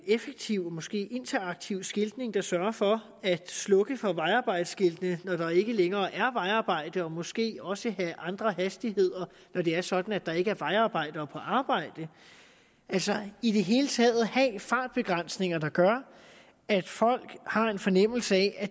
effektiv og måske interaktiv skiltning der sørger for at slukke for vejarbejdsskilte når der ikke længere er vejarbejde og måske også har andre hastigheder når det er sådan at der ikke er vejarbejdere på arbejde altså i det hele taget at have fartbegrænsninger der gør at folk har en fornemmelse af at